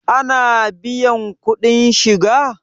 ana biyan kuɗin shiga?